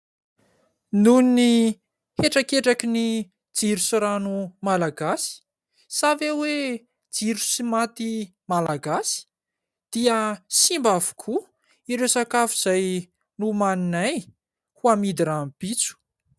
Noho ny hetraketrakin'ny jiro sy rano Malagasy sa ve hoe jiro sy maty Malagasy ? Dia simba avokoa ireo sakafo izay nomaninay amidy rahampitso.